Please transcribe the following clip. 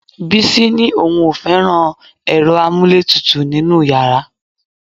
Bísí ni òun ò fẹ́ràn ẹ̀rọ amúlétutù nínú yàrá